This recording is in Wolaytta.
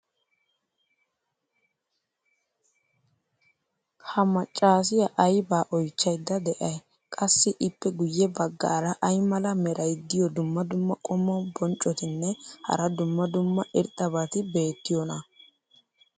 ha macaassiya aybaa oychchaydda de'ay? qassi ippe guye bagaara ay mala meray diyo dumma dumma qommo bonccotinne hara dumma dumma irxxabati beetiyoonaa?